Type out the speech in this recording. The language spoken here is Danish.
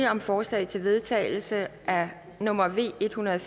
om forslag til vedtagelse nummer v en hundrede og